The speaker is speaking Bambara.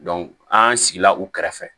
an sigila u kɛrɛfɛ